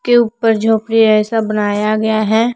के ऊपर झोपड़ी ऐसा बनाया गया है।